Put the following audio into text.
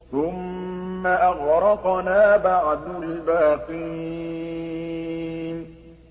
ثُمَّ أَغْرَقْنَا بَعْدُ الْبَاقِينَ